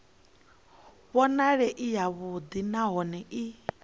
vhonale i yavhuḓi nahone i